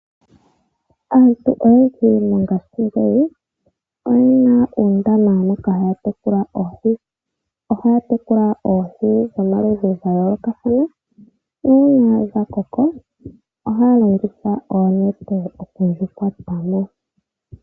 Aantu oyendji mongashingeyi oyena uundama moka haya tekula oohi. Ohaya tekula oohi dhomaludhi gayoolokathana nuuna dhakoko ohaya longitha oonete moku dhikwata mo.